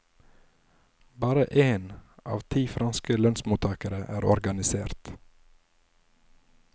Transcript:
Bare én av ti franske lønnsmottagere er organisert.